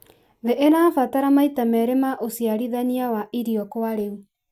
thĩ ĩrabatara maita merĩ ma ũciarithania wa irio kwa rĩu.